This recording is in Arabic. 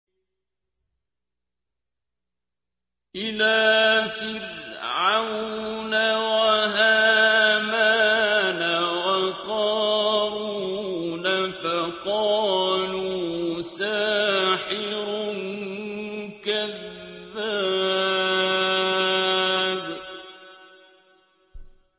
إِلَىٰ فِرْعَوْنَ وَهَامَانَ وَقَارُونَ فَقَالُوا سَاحِرٌ كَذَّابٌ